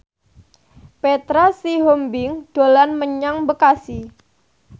Petra Sihombing dolan menyang Bekasi